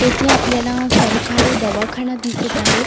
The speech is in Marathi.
तेथे आपल्याला सरकारी दवाखाना दिसत आहे.